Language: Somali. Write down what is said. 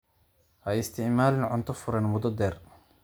Ha isticmaalin cunto furan muddo dheer.